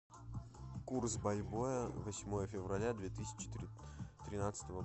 курс бальбоа на седьмое февраля две тысячи тринадцатого